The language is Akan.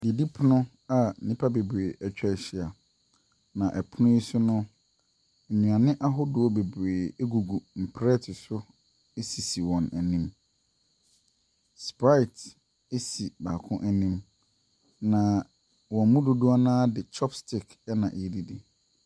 Didipono a nnipa bebree ɛtwahyia. Na ɛpono yi so no, nnuane ahodoɔ bebree egugu nprɛte so esisi wɔn ɛnim. Sprite esi baako ɛnim. Na wɔn mu dodoɔ naa de chopstick na ɛredidi.